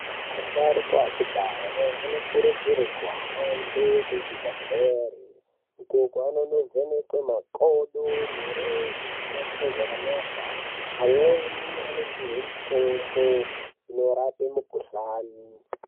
Asharukwa ekudhaya anokurudzirwa kuhamba kuzvibhehlera uko kwavanonovhenekwa makodo mirenje isina kuita zvakanaka amweni anopuhwe mitombo isina kuita zvakanaka